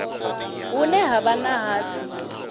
hune ha vha na hatsi